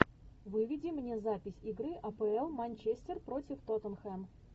выведи мне запись игры апл манчестер против тоттенхэм